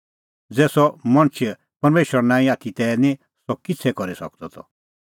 ज़ै सह मणछ परमेशरो नांईं आथी तै निं सह किछ़ै करी सकदअ त